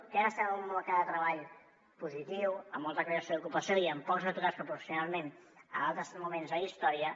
que ara estem en un mercat de treball positiu amb molta creació d’ocupació i amb pocs aturats proporcionalment a altres moments de la història